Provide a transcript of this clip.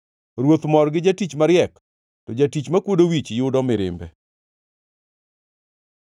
Ruoth mor gi jatich mariek, to jatich makwodo wich yudo mirimbe.